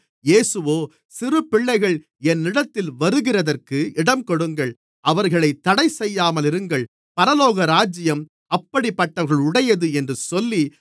இயேசுவோ சிறு பிள்ளைகள் என்னிடத்தில் வருகிறதற்கு இடங்கொடுங்கள் அவர்களைத் தடைசெய்யாமலிருங்கள் பரலோகராஜ்யம் அப்படிப்பட்டவர்களுடையது என்று சொல்லி